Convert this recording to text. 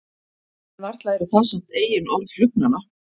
En varla eru það samt eigin orð flugnanna.